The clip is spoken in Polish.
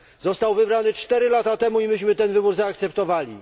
Został wybrany 4 lata temu i myśmy ten wybór zaakceptowali.